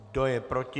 Kdo je proti?